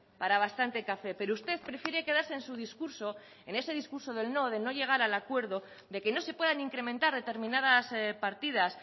para bastante café pero usted prefiere quedarse en su discurso en ese discurso del no de no llegar al acuerdo de que no se puedan incrementar determinadas partidas